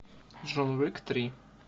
джон уик три